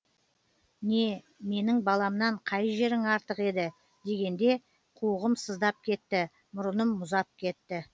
не менің баламнан қай жерің артық еді дегенде қуығым сыздап кетті мұрыным мұзап кетті